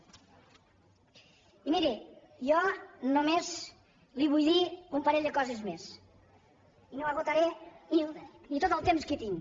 i miri jo només li vull dir un parell de coses més i no esgotaré ni tot el temps que tinc